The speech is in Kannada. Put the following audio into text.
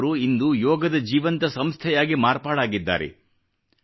ಲಿಂಚ್ ಅವರು ಇಂದು ಯೋಗದ ಜೀವಂತ ಸಂಸ್ಥೆಯಾಗಿ ಮಾರ್ಪಾಡಾಗಿದ್ದಾರೆ